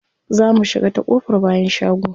Za mu shiga ta ƙofar bayan shago.